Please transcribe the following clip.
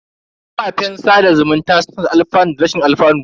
Kafafen sada zumunta suna da alfanu da rashin alfanu.